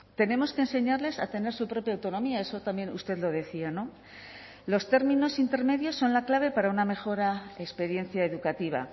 tenemos que enseñarles a tener su propia autonomía eso también usted lo decía los términos intermedios son la clave para una mejora experiencia educativa